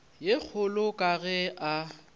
ye kgolo ka ge a